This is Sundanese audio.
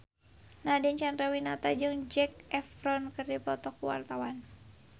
Nadine Chandrawinata jeung Zac Efron keur dipoto ku wartawan